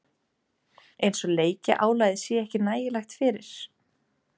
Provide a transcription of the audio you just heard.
Eins og leikjaálagið sé ekki nægilegt fyrir?